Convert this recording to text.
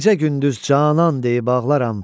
Gecə-gündüz canan deyib ağlaram.